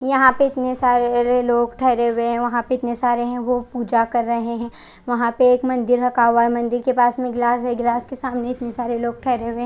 यहाँ पे इतने सारे लोग ठहरे हुए है यहाँ पर इतने सारे लोग पूजा कर रहे है वहां पे एक मंदिर रखा हुआ है मंदिर के पास में एक गिलास है गिलास के सामने इतने सारे लोग ठहरे हुए है।